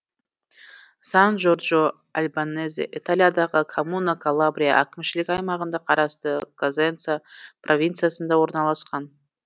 сан джорджо альбанезе италиядағы коммуна калабрия әкімшілік аймағына қарасты козенца провинциясында орналасқан